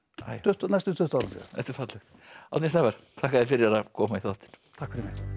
næstum tuttugu árum síðar þetta er fallegt Árni Snævarr takk fyrir að koma í þáttinn takk fyrir mig